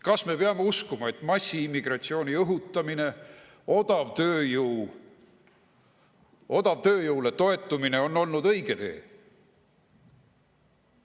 Kas me peame uskuma, et massiimmigratsiooni õhutamine, odavale tööjõule toetumine on olnud õige tee?